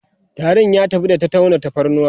tarin ya tafi da ta tauna tafarnuwa